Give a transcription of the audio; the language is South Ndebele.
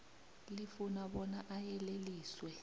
lifuna bona ayeleliswe